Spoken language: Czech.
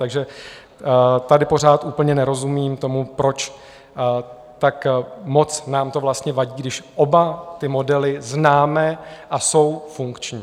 Takže tady pořád úplně nerozumím tomu, proč tak moc nám to vlastně vadí, když oba ty modely známe a jsou funkční.